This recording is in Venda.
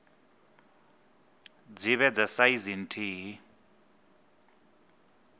dzi vhe dza saizi nthihi